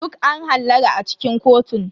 Duk an hallara a cikin kotun.